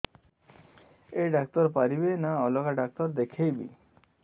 ଏଇ ଡ଼ାକ୍ତର ପାରିବେ ନା ଅଲଗା ଡ଼ାକ୍ତର ଦେଖେଇବି